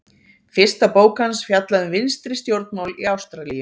fyrsta bók hans fjallaði um vinstri stjórnmál í ástralíu